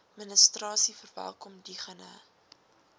administrasie verwelkom diegene